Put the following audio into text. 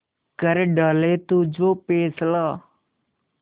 कर डाले तू जो फैसला